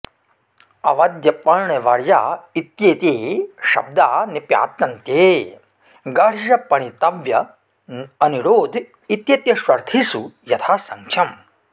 अवद्य पण्य वर्या इत्येते शब्दा निपात्यन्ते गर्ह्य पणितव्य अनिरोध इत्येतेष्वर्थेषु यथासङ्ख्यम्